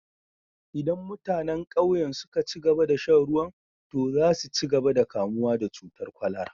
Idan mutanen ƙauyen suka ci gaba da shan ruwan, to za su ci gaba da kamuwa da cutar kwalara